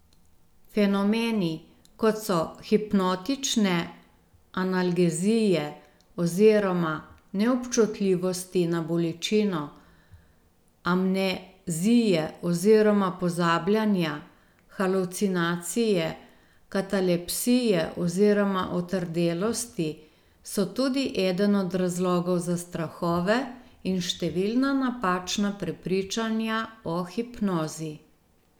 Fenomeni, kot so hipnotične analgezije oziroma neobčutljivosti na bolečino, amnezije oziroma pozabljanja, halucinacije, katalepsije oziroma otrdelosti, so tudi eden od razlogov za strahove in številna napačna prepričanja o hipnozi.